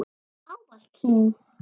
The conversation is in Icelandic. Ávallt hlý.